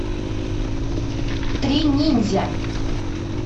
три ниндзя